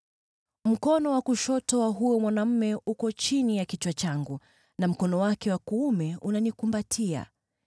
Mkono wake wa kushoto uko chini ya kichwa changu, na mkono wake wa kuume unanikumbatia.